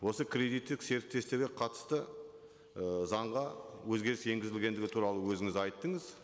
осы кредиттік қатысты ы заңға өзгеріс енгізілгендігі туралы өзіңіз айттыңыз